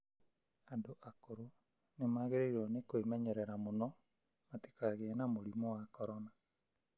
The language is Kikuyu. Andũ akũrũ nĩmagĩrĩirwo nĩ kwĩmenyerera mũno matikagĩe na mũrimũ wa corona.